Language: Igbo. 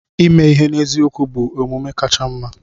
Ime ihe n'eziokwu bụ amụma kacha mma.